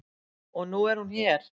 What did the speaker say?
Og nú er hún hér.